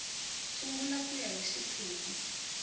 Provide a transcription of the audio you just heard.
sungula ku ya hi xiphemu